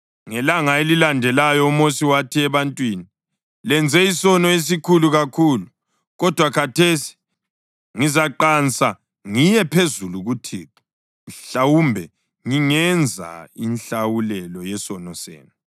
Ngelanga elalandelayo uMosi wathi ebantwini, “Lenze isono esikhulu kakhulu. Kodwa khathesi ngizaqansa ngiye phezulu kuThixo, mhlawumbe ngingenza inhlawulelo yesono senu.”